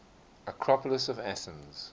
acropolis of athens